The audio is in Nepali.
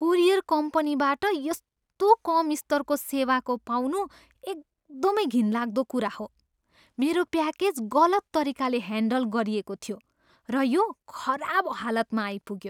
कोरियर कम्पनीबाट यस्तो कम स्तरको सेवाको पाउनु एकदमै घिनलाग्दो कुरा हो। मेरो प्याकेज गलत तरिकाले ह्यान्डल गरिएको थियो, र यो खराब हालतमा आइपुग्यो।